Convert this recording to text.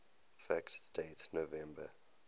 fact date november